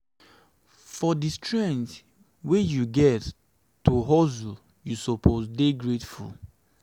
for di strength wey you get to hustle you suppose dey grateful.